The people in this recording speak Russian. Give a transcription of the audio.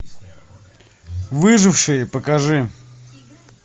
выжившие покажи